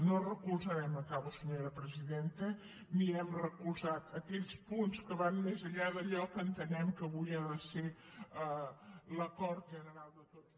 no recolzarem acabo senyora presidenta ni hem recolzat aquells punts que van més enllà d’allò que entenem que avui ha de ser l’acord general de tots